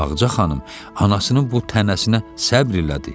Ağca xanım anasının bu tənəsinə səbr elədi.